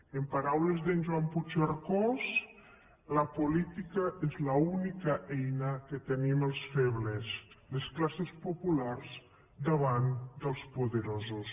amb paraules d’en joan puigcercós la política és l’única eina que tenim els febles les classes populars davant dels poderosos